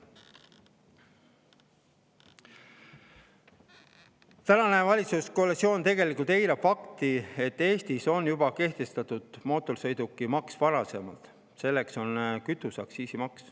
Tänane valitsuskoalitsioon eirab fakti, et Eestis on juba varasemalt kehtestatud mootorsõidukimaks, selleks on kütuseaktsiis.